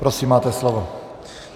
Prosím máte slovo.